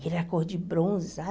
Ele era cor de bronze, sabe?